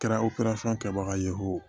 Kɛra kɛbaga ye o